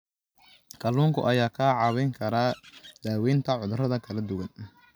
Kalluunka ayaa kaa caawin kara daaweynta cudurrada kala duwan.